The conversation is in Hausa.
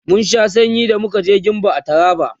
mun Sha sanyi da muka je gembu a taraba